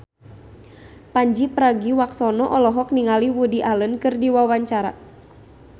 Pandji Pragiwaksono olohok ningali Woody Allen keur diwawancara